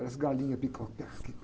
Parece galinha bica a terra aqui,